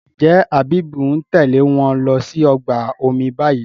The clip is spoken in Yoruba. njé Habib ń Tèlé wón ló sì ọgbà omi bayí?